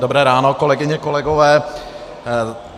Dobré ráno, kolegyně, kolegové.